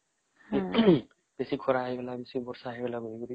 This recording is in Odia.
ବେଶୀ ଖରା ହେଇଗଲା ବେଶୀ ବର୍ଷା ହେଇଗଲା କରିକି